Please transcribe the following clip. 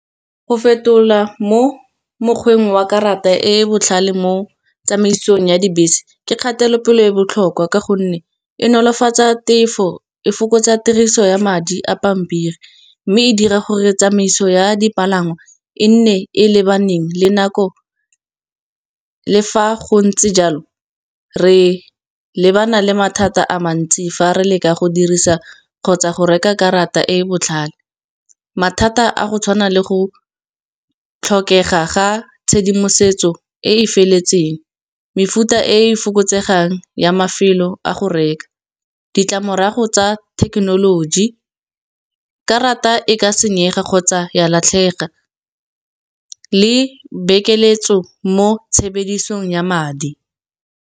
Go fetola mo mokgweng wa karata e e botlhale mo tsamaisong ya dibese ke kgatelopele e botlhokwa. Ka gonne e nolofatsa tefo e fokotsa tiriso ya madi a pampiri, mme e dira gore tsamaiso ya dipalangwa e nne e lebaneng le nako le fa go ntse jalo, re lebana le mathata a mantsi fa re leka go dirisa kgotsa go reka karata e e botlhale. Mathata a go tshwana le go tlhokega ga tshedimosetso e e feletseng, mefuta e e fokotsegang ya mafelo a go reka. Ditlamorago tsa thekenoloji, karata e ka senyega kgotsa ya latlhega, le bekeletso mo tshebedisong ya madi.